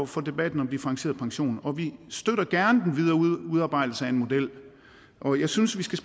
for debatten om differentieret pension og vi støtter gerne den videre udarbejdelse af en model og jeg synes vi skal